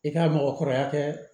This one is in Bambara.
I ka mɔgɔ kɔrɔya kɛ